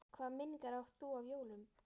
Hvaða minningar átt þú af jólum?